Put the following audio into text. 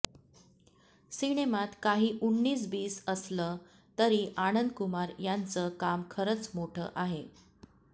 सिनेमात काही उन्नीस बीस असलं तरी आनंदकुमार यांचं काम खरंच मोठं आहे